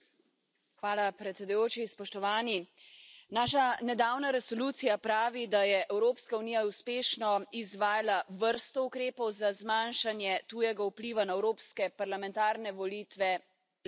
Gospod predsednik! Naša nedavna resolucija pravi, da je Evropska unija uspešno izvajala vrsto ukrepov za zmanjšanje tujega vpliva na evropske parlamentarne volitve leta